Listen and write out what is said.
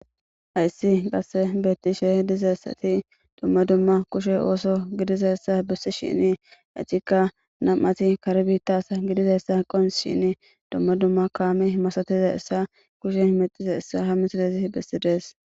Hayssi qasse beettishe diza yessati dumma dumma kushe ooso gidiza essa bessi shini ecikka nam'ati karbitas gidiza essa qon shin domma dumma kaame himasatiza essa kushe imexiza issa ha misilezi bessides.